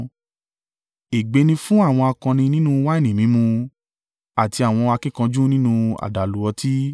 Ègbé ni fún àwọn akọni nínú wáìnì mímu àti àwọn akíkanjú nínú àdàlú ọtí,